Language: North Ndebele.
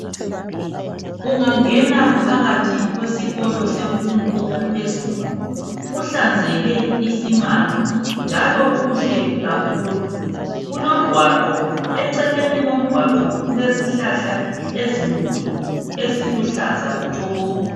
Ungangena phakathi kwesikolo semfundo yaphezulu kuhlanzeke isimanga njalo kuhle kakhulu . Kulomgwaqo , eceleni komgwaqo kulezihlahla ezinkulu eziluhlaza tshoko.